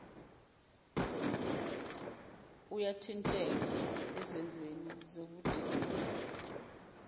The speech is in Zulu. uyathinteka ezenzweni zobudedengu